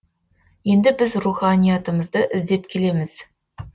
енді біз руханиатымызды іздеп келеміз